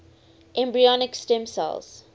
embryonic stem cells